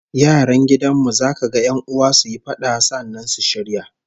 Yaran gidan mu za kaga 'yan'uwa suyi fada, sannan su shirya